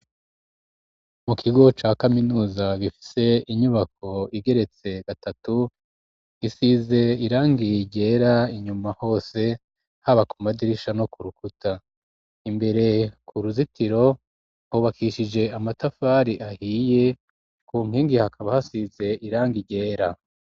mu kigo ca kaminuza, gifise inyubako igeretse gatatu, isize irangi ryera, inyuma hose haba ku madirisha no ku rukuta ,imbere ku ruzitiro hubakishije amatafari ahiye ,ku nkingi hakaba hasize irangi ryera.